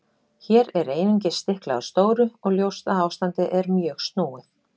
Hér er einungis stiklað á stóru og ljóst að ástandið er mjög snúið.